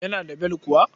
Yana da bel kuwa?